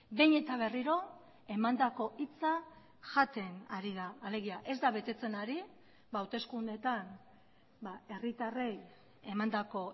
behin eta berriro emandako hitza jaten ari da alegia ez da betetzen ari hauteskundeetan herritarrei emandako